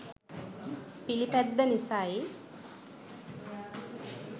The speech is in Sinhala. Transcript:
පිළිපැද්ද නිසයි.